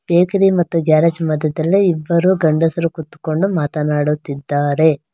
Bakery ಮತ್ತು garage ಮಧ್ಯದಲ್ಲಿ ಇಬ್ಬರು ಗಂಡಸು ಕುತ್ಕೊಂಡು ಮಾತನಾಡುತ್ತಿದ್ದಾರೆ.